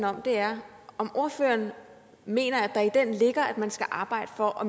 om er om ordføreren mener at der i den ligger at man skal arbejde for at